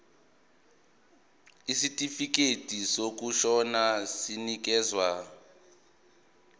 isitifikedi sokushona sinikezwa